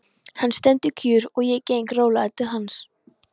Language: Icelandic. Hann stendur kjur og ég geng rólega til hans.